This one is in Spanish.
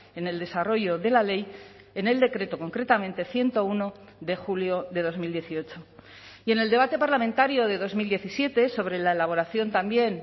en el desarrollo de la ley en el decreto concretamente ciento uno de julio de dos mil dieciocho y en el debate parlamentario de dos mil diecisiete sobre la elaboración también